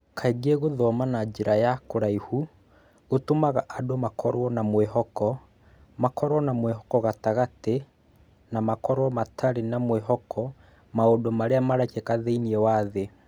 Kaingĩ gũthoma na njĩra ya kũraihu, gũtũmaga andũ makorũo na mwĩhoko, makorũo na mwĩhoko gatagatĩ, na makorũo matarĩ na mwĩhoko maũndũ marĩa marekĩka thĩinĩ wa thĩ.